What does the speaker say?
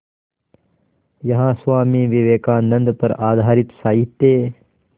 यहाँ स्वामी विवेकानंद पर आधारित साहित्य